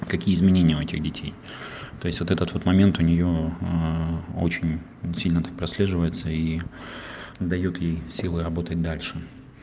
какие изменения у этих детей то есть вот этот вот момент у неё очень сильно так прослеживается и даёт ей силы работать дальше